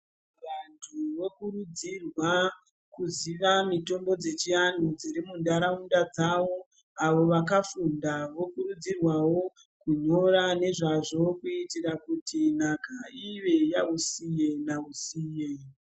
Vantu vokurudzirwa kuziva mitombo dzechianhu dziri munharaunda dzavo, avo vakafunda vokurudzirwawo kunyora nezvazvo kutira kuti nhaka ive yausiye nausiye.